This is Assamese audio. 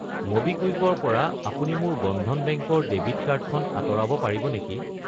ম'বিকুইক ৰ পৰা আপুনি মোৰ বন্ধন বেংক ৰ ডেবিট কাৰ্ড খন আঁতৰাব পাৰিব নেকি?